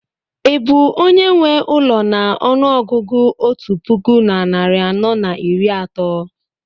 ị bụ onye nwe ụlọ na ọnụ ọgụgụ otu puku na narị anọ na iri atọ?